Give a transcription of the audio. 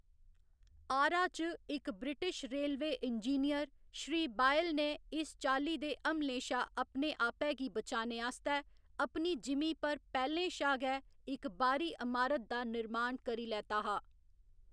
आरा च इक British railway engineer Shri Boyle ने इस चाल्ली दे हमलें शा अपने आपै गी बचाने आस्तै अपनी जिमीं पर पैह्‌लें शा गै इक बाह्‌री अमारत दा निर्माण करी लैता हा।